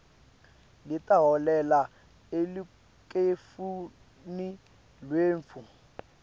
letaholela elukhetfweni lwetfu